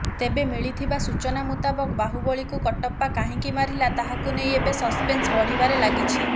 ତେବେ ମିଳିଥିବା ସୂଚନା ମୁତାବକ ବାହୁବଳୀକୁ କଟପ୍ପା କାହିଁକି ମାରିଲା ତାହାକୁ ନେଇ ଏବେ ସସପେନ୍ସ ବଢିବାରେ ଲାଗିଛି